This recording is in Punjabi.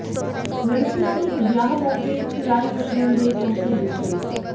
ਲੜਕੀਆਂ ਦੇ ਵਿਆਹ ਮੌਕੇ ਸਿਲਾਈ ਮਸ਼ੀਨ ਤੇ ਤੋਹਫੇ ਦਿੱਤੇ